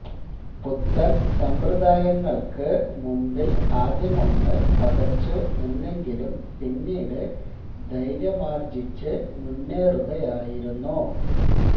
പുത്തന് സമ്പ്രദായങ്ങള്ക്ക് മുന്നില് ആദ്യമൊന്ന് പകച്ചു നിന്നെങ്കിലും പിന്നീട് ധൈര്യമാര്ജ്ജിച്ച് മുന്നേറുകയായിരുന്നു